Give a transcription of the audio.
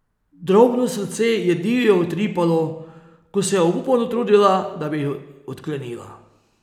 Drobno srce ji je divje utripalo, ko se je obupano trudila, da bi jih odklenila.